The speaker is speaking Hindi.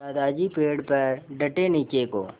दादाजी पेड़ पर डटे नीचे को